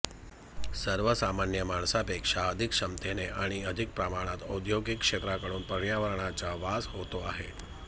सर्वसामान्य माणसांपेक्षा अधिक क्षमतेने आणि अधिक प्रमाणात औद्योगिक क्षेत्राकडून पर्यावरणाचा ऱ्हास होतो आहे